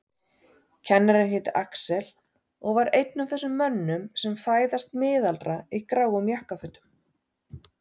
Kennarinn hét Axel og var einn af þessum mönnum sem fæðast miðaldra í gráum jakkafötum.